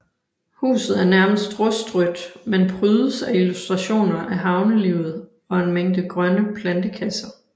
Huset er nærmest rustrødt men prydes af illustrationer af havnelivet og en mængde grønne plantekasser